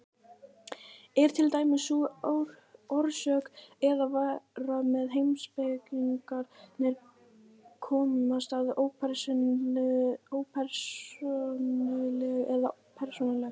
Er til dæmis sú orsök eða vera sem heimspekingarnir komast að ópersónuleg eða persónuleg?